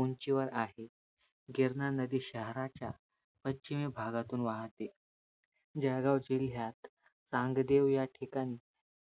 उंची वर आहे. गिरणा नदी शहराच्या पश्चिमी भागातून वाहते. जळगाव जिल्ह्यात तांगदेव या ठिकाणी